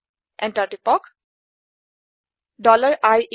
enter টিপক